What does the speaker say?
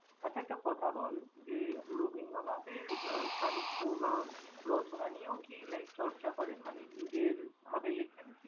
আচ্ছা একটা কথা বল, যে রবীন্দ্রনাথের আহ সাহিত্য বা রচনা নিয়েও কি like চর্চা করেন মানে নিজের ভাবে লেখেন?